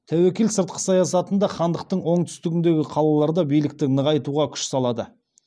тәуекел сыртқы саясатында хандықтың оңтүстігіндегі қалаларда билікті нығайтуға күш салады